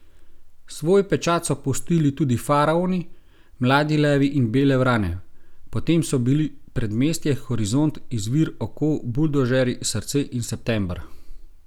Svoj pečat so pustili tudi Faraoni, Mladi levi in Bele vrane, potem so bili Predmestje, Horizont, Izvir, Oko, Buldožerji, Srce in September.